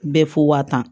Bɛɛ fo ka tan